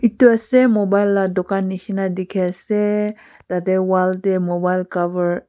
etu ase mobile laga dukan neshina dekhi ase tatey wall tae mobile cover .